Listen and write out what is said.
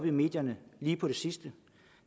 i medierne lige på det sidste